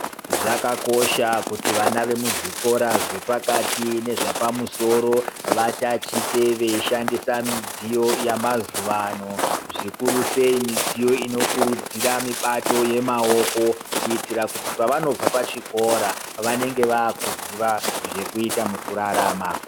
Zvakakosha kuti vana vemuzvikora zvepakati nezvapamusoro vatachite veishandisa midziyo yamazuwa ano zvikurusei midziyo inokurudzira mibato yemaoko kuitira kuti pavanobva pachikora vanenge vakuziya zvekuita mukurarama.